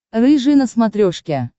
рыжий на смотрешке